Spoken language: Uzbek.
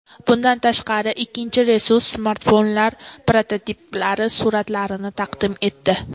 Bundan tashqari, ikkinchi resurs smartfonlar prototiplari suratlarini taqdim etdi.